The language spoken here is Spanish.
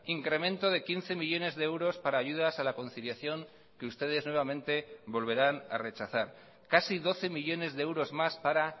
incremento de quince millónes de euros para ayudas a la conciliación que ustedes nuevamente volverán a rechazar casi doce millónes de euros más para